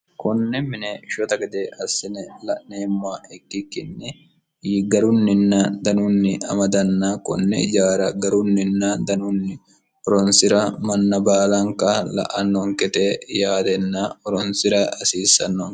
konne mine shota gede assine la'neemma ikkikkinni garunninna danunni amadanna konne ijaara garunninna danunni horonsi'ra manna baalanka la'annonkete yaatenna horonsira hasiissanno